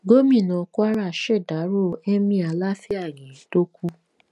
gomina kwara ṣèdárò emir láfíàgì tó kù